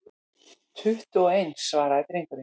Tuttugu og eins, svaraði drengurinn.